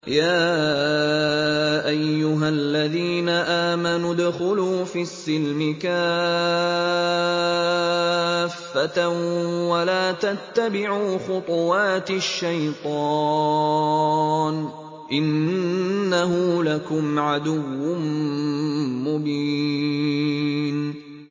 يَا أَيُّهَا الَّذِينَ آمَنُوا ادْخُلُوا فِي السِّلْمِ كَافَّةً وَلَا تَتَّبِعُوا خُطُوَاتِ الشَّيْطَانِ ۚ إِنَّهُ لَكُمْ عَدُوٌّ مُّبِينٌ